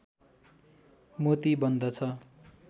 मोती बन्दछ